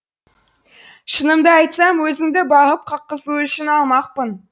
шынымды айтсам өзіңді бағып қаққызу үшін алмақпын